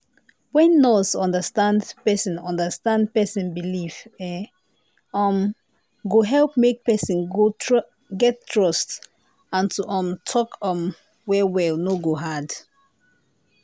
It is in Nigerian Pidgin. wen nurse understand person understand person belief e um go help make person get trust and to um talk um well well no go hard.